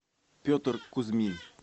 петр кузьмин